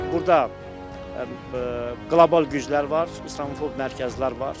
Burda qlobal güclər var, islamofob mərkəzlər var.